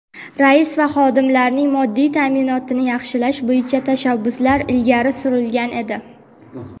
rais va xodimlarning moddiy ta’minotini yaxshilash bo‘yicha tashabbuslar ilgari surilgan edi.